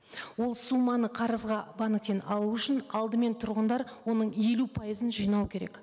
ол соманы қарызға банктен алу үшін алдымен тұрғындар оның елу пайызын жинау керек